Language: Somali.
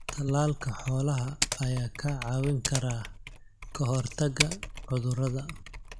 Talaalka xoolaha ayaa kaa caawin kara kahortaga cudurada.